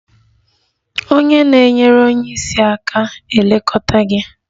Onye na-enyere onye isi aka ga-elekọta gị